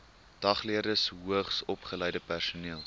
dagleerders hoogsopgeleide personeel